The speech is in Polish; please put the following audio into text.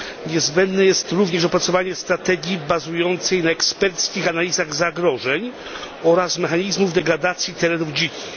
Niezbędne jest również opracowanie strategii bazującej na eksperckich analizach zagrożeń oraz mechanizmów degradacji terenów dzikich.